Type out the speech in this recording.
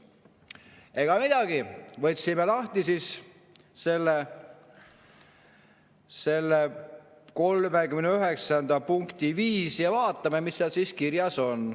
Ega midagi, võtame lahti selle 39.5 ja vaatame, mis seal siis kirjas on.